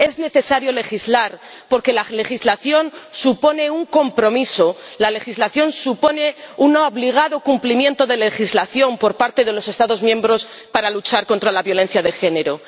Es necesario legislar porque la legislación supone un compromiso, la legislación supone un obligado cumplimiento ―de la legislación― por parte de los Estados miembros para luchar contra la violencia de género.